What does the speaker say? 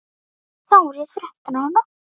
Þá var ég þrettán ára.